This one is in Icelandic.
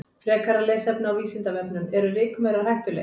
Frekara lesefni á Vísindavefnum: Eru rykmaurar hættulegir?